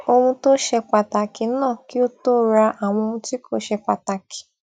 ohun tó ṣe pàtàkì ná kí ó tó ra àwọn ohun tí kò ṣe pàtàkì